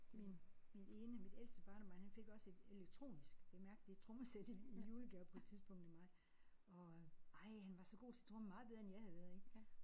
Min min ene mit ældste barnebarn han fik også et elektronisk bemærk det er et trommesæt i julegave på et tidspunkt af mig og ej han var så god til tromme meget bedre end jeg havde været ik